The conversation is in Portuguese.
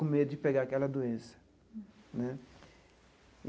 Com medo de pegar aquela doença, né?